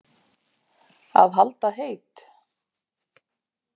Að halda heit